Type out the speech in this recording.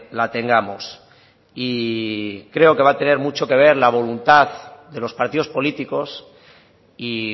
la tengamos y creo que va a tener mucho que ver la voluntad de los partidos políticos y